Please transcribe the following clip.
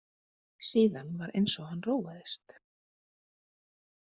Síðan var eins og hann róaðist.